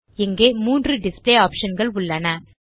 இங்கே மூன்று டிஸ்ப்ளே optionகள் உள்ளன